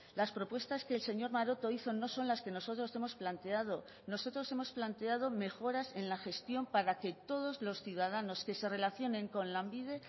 las propuestas que el señor maroto hizo no son las que nosotros hemos planteado nosotros hemos planteado mejoras en la gestión para que todos los ciudadanos que se relacionen con lanbide